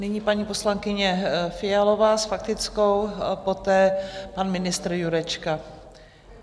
Nyní paní poslankyně Fialová s faktickou, poté pan ministr Jurečka.